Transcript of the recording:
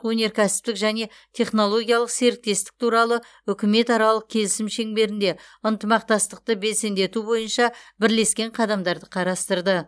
өнеркәсіптік және технологиялық серіктестік туралы үкіметаралық келісім шеңберінде ынтымақтастықты белсендету бойынша бірлескен қадамдарды қарастырды